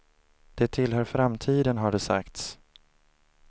De tillhör framtiden, har det sagts.